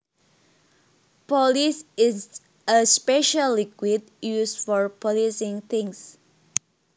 Polish is a special liquid used for polishing things